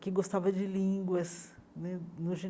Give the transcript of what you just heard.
que gostava de línguas né no